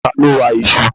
Ta ló wa iṣu